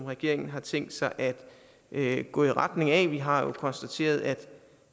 regeringen har tænkt sig at gå i retning af vi har jo konstateret at